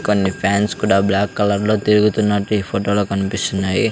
కొన్ని ఫ్యాన్స్ కూడా black colour లో తిరుగుతున్నట్టు ఈ ఫోటోలో కనిపిస్తున్నాయి.